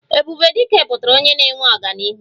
Ebube Dike pụtara onye na-eweta ọganihu